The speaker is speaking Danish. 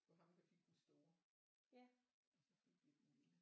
Det var ham der fik den store og så fik vi den lille